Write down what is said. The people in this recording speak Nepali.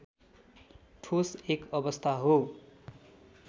ठोस एक अवस्था हो